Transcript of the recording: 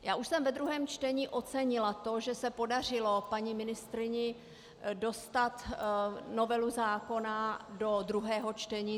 Já už jsem ve druhém čtení ocenila to, že se podařilo paní ministryni dostat novelu zákona do druhého čtení.